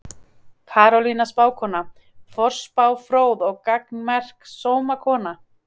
Karolína spákona, forspá fróð og gagnmerk sómakona.